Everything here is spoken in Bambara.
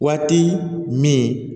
Waati min